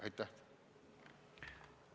Aitäh!